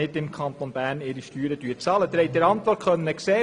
Sie konnten es der Antwort entnehmen: